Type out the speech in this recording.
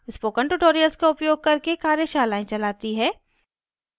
spoken tutorials का उपयोग करके कार्यशालाएं चलाती है